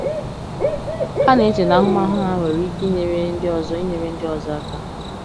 Ha na-eche na ahụmahụ ha nwere ike inyere ndị ọzọ inyere ndị ọzọ aka.